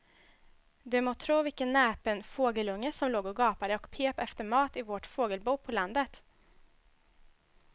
Du må tro vilken näpen fågelunge som låg och gapade och pep efter mat i vårt fågelbo på landet.